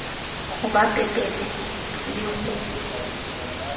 ho ba pepenene le ho